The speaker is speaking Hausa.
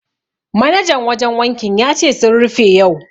Manajan wajen wankin ya ce sun rufe yau.